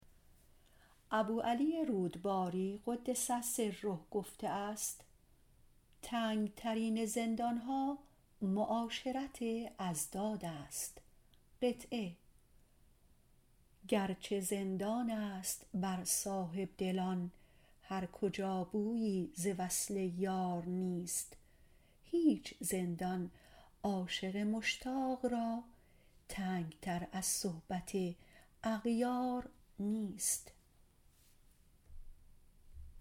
ابوعلی رودباری - قدس سره - گفته است تنگترین زندانها معاشرت اضداد است گرچه زندان است بر صاحبدلان هر کجا بویی ز وصل یار نیست هیچ زندان عاشق مشتاق را تنگتر از صحبت اغیار نیست